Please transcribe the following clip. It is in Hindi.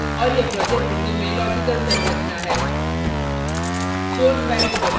और यह projects window में logical संरचना है